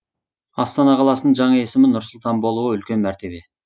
астана қаласының жаңа есімі нұр сұлтан болуы үлкен мәртебе